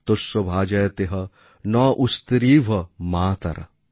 তস্য ভাজয়তেহ নঃ উশতিরিভ মাতরঃ